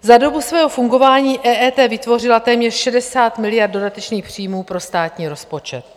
Za dobu svého fungování EET vytvořila téměř 60 miliard dodatečných příjmů pro státní rozpočet.